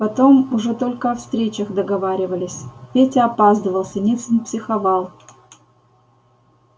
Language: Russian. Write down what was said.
потом уже только о встречах договаривались петя опаздывал синицын психовал